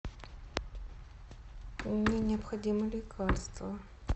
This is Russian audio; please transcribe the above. мне необходимо лекарство